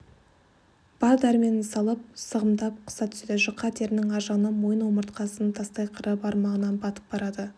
бар дәрменін салып сығымдап қыса түседі жұқа терінің аржағынан мойын омыртқасының тастай қыры бармағына батып барады